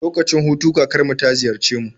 Lokacin hutu kakar mu ta ziyarce mu